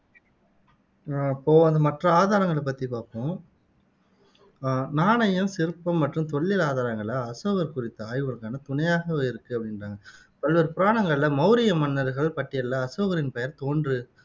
உம் இப்போ மற்ற ஆதாரங்களை பத்தி பாப்போம் அஹ் நாணயம், சிற்பம் மற்றும் தொல்லியல் ஆதாரங்கள் அசோகர் குறித்த ஆய்வுகளுக்கான துணையாகவே இருக்கு அப்படின்றாங்க பல்வேறு புராணங்களில மௌரிய மன்னர்கள் பட்டியலில அசோகரின் பெயர் தோன்று